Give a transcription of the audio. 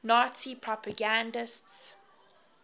nazi propagandists